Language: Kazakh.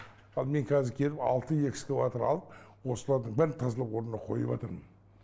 ал мен қазір келіп алты экскаватор алып осылардың бәрін тазалап орнына қойыпатырмын